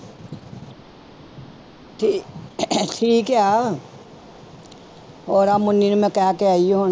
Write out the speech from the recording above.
ਠੀਕ ਠੀਕ ਆ ਉਹ ਮੁੱਨੀ ਨੂੰ ਮੈਂ ਕਹਿ ਕੇ ਆਈ ਸੀ ਹੁਣ।